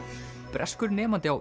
breskur nemandi á